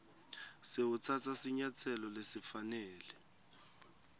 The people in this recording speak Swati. sewutsatsa sinyatselo lesifanele